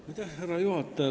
Austatud härra juhataja!